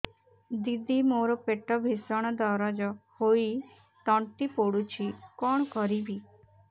ଦିଦି ମୋର ପେଟ ଭୀଷଣ ଦରଜ ହୋଇ ତଣ୍ଟି ପୋଡୁଛି କଣ କରିବି